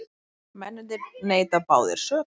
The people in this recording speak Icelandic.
Mennirnir neita báðir sök